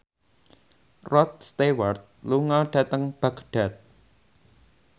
Rod Stewart lunga dhateng Baghdad